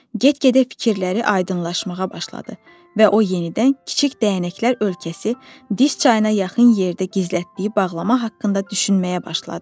Get-gedə fikirləri aydınlaşmağa başladı və o yenidən kiçik dəyənəklər ölkəsi, diz çayına yaxın yerdə gizlətdiyi bağlama haqqında düşünməyə başladı.